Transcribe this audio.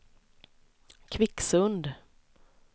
Kvicksund